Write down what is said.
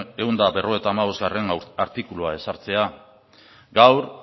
ehun eta berrogeita hamabostgarrena artikulua ezartzea gaur